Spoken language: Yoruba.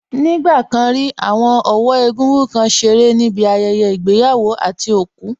Ní ìgbà kan rí, àwọn ọ̀wọ́ egúngún kan ṣeré níbi ayẹyẹ ìgbéyàwó àti òkú